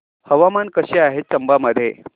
हवामान कसे आहे चंबा मध्ये